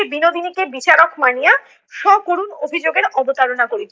সে বিনোদিনী কে বিচারক মানিয়া সকরুণ অভিযোগের অবতারণা করিত